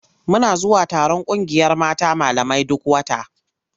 Muna zuwa taron ƙungiyar malamai mata duk wata.